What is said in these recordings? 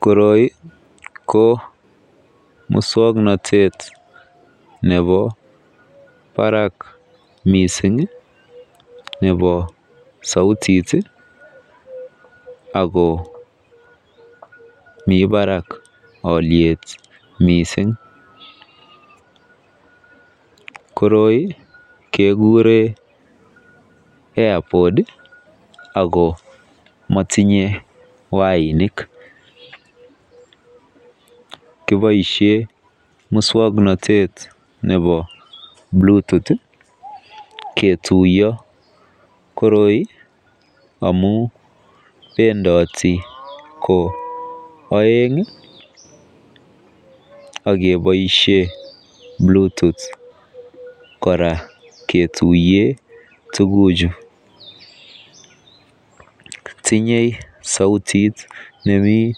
Koroi ko muswoknotet nebo barak missingi nebo souti tii ako mii barak oliet missing, koroi kekuren airpod Ako motinye wainik kiboishen muswoknotet muswoknotet nebo bluetooth ketuyo. Koroi amun pendoti ko oengi ak keboishen Bluetooth kora ketuyen tukuk chuu tinye soutit nemii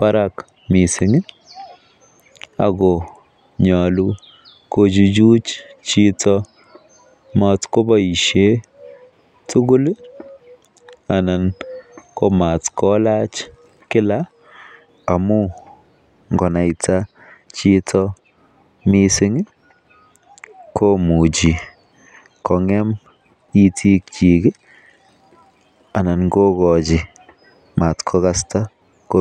barak missingi Ako nyolu Kochuchuch chito motkoboishen tukul lii anan komat kolach Kila amun ngonaita chito missingi komuchi kongem itikchik kii ana kokochi matkokasta komie.